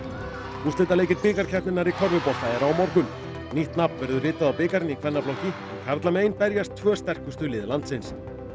úrslitaleikir bikarkeppninnar í körfubolta eru á morgun nýtt nafn verður ritað á bikarinn í kvennaflokki en karlamegin berjast tvö sterkustu lið landsins